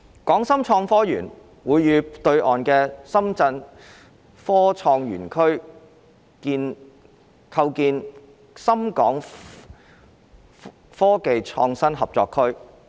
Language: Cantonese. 港深創科園會與對岸的深圳科創園區構建深港科技創新合作區。